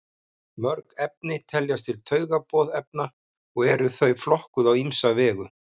Mörg efni teljast til taugaboðefna og eru þau flokkuð á ýmsa vegu.